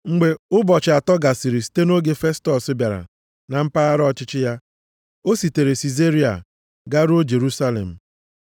Mgbe ụbọchị atọ gasịrị site nʼoge Festọs bịara na mpaghara ọchịchị ya, o sitere Sizaria garuo Jerusalem.